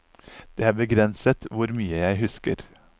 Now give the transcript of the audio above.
Det er begrenset hvor mye jeg husker.